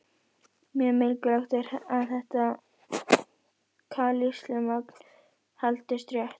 Mjög mikilvægt er að þetta kalsíummagn haldist rétt.